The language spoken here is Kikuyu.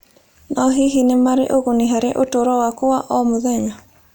No hihi nĩ marĩ ũguni harĩ ũtũũro waku wa o mũthenya?